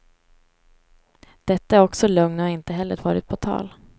Detta är också lögn och har inte heller varit på tal.